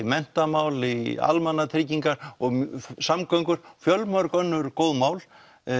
menntamál í almannatryggingar samgöngur og fjölmörg önnur mál